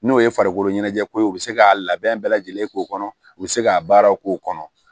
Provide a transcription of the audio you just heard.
N'o ye farikolo ɲɛnajɛko ye u bɛ se ka labɛn bɛɛ lajɛlen k'o kɔnɔ u bɛ se k'a baaraw k'o kɔnɔ